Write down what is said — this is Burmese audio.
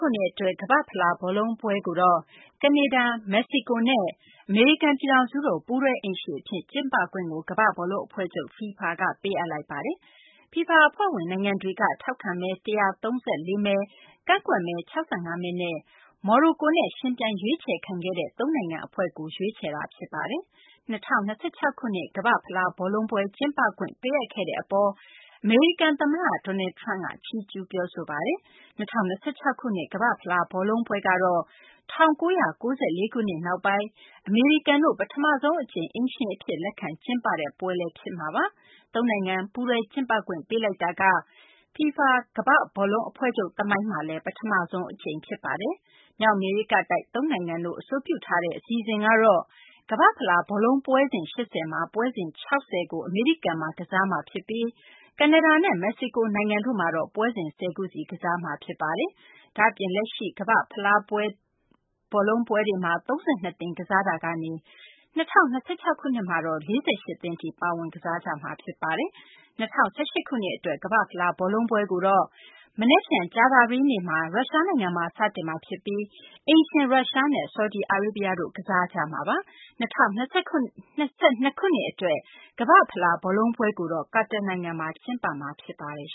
ခုနှစ် အတွက် ကမ္ဘာ့ဖလားဘောလုံးပွဲကိုတော့ ကနေဒါ၊ မက္ကဆီကိုနဲ့ အမေရိကန် ပြည်ထောင်စုတို့ ပူးတွဲ အိမ်ရှင်အဖြစ် ကျင်းပခွင့်ကို ကမ္ဘာ့ ဘောလုံးအဖွဲ့ချုပ် FIFA က ပေးအပ်လိုက်ပါတယ်။ FIFA အဖွဲ့ဝင် နိုင်ငံတွေက ထောက်ခံမဲ ၁၃၄ မဲ ကန့်ကွက်မဲ ၆၅ မဲနဲ့ မော်ရိုကိုနဲ့ ယှဉ်ပြိုင်ရွေးချယ်ခံခဲ့တဲ့ သုံးနိုင်ငံ အဖွဲ့ကို မဲပေးရွေးချယ်လိုက်တာပါ။ ၂၀၂၆ ခုနှစ် ကမ္ဘာ့ဖလား ဘောလုံးပွဲ ကျင်းပခွင့် ပေးအပ်ခဲ့တဲ့ အပေါ် အမေရိကန် သမ္မတ Donald Trump က ချီးကျူး ပြောဆိုပါတယ်။ ၂၀၂၆ ခုနှစ် ကမ္ဘာ့ဖလား ဘောလုံးပွဲကတော့ ၁၉၉၄ ခုနှစ် နောက်ပိုင်း အမေရိကန်တို့ ပထမဆုံး အကြိမ် အိမ်ရှင် အဖြစ် လက်ခံကျင်းပတဲ့ပွဲ ဖြစ်မှာပါ။ သုံးနိုင်ငံ ပူးတွဲ ကျင်းပခွင့်ပေးလိုက်တာက FIFA ကမ္ဘာ့ဘောလုံး အဖွဲ့ချုပ် သမိုင်းမှာလည်း ပထမဆုံး အကြိမ်ဖြစ်ပါတယ်။ မြောက်အမေရိကတိုက် သုံးနိုင်ငံတို့ အဆိုပြုထားတဲ့ အစီအစဉ်ကတော့ ကမ္ဘာ့ဖလား ဘောလုံးပွဲစဉ် ၈၀ မှာ ပွဲစဉ် ၆၀ ကို အမေရိကန်မှာ ကစားမှာ ဖြစ်ပြီး ကနေဒါနဲ့ မက္ကဆီကို နိုင်ငံတို့မှာ ပွဲစဉ် ၁၀ ခုစီ ကစားမှာ ဖြစ်ပါတယ်။ ဒါ့အပြင် လက်ရှိ ကမ္ဘာ့ဖလား ဘောလုံးပွဲတွေမှာ ၃၂ သင်းကစားနေတာကနေ ၂၀၂၆ ခုနှစ်မှာတော့ ၄၈ သင်းထိ ပါဝင် ကစားကြမှာ ဖြစ်ပါတယ်။ ၂၀၁၈ ခုနှစ် အတွက် ကမ္ဘာ့ဖလား ဘောလုံးပွဲကိုတော့ မနက်ဖြန် ကြာသပတေးနေ့မှာ ရုရှားနိုင်ငံမှာ စတင်တော့မှာ ဖြစ်ပြီး အိမ်ရှင် ရုရှားနဲ့ ဆော်ဒီအာရေးဗျတို့ ကစားကြမှာပါ။ ၂၀၂၂ ခုနှစ် အတွက် ကမ္ဘာ့ဖလား ဘောလုံးပွဲကိုတော့ ကာတာနိုင်ငံမှာ ကျင်းပမှာ ဖြစ်ပါတယ်